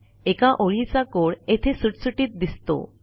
एका ओळीचा codeयेथे सुटसुटीत दिसतो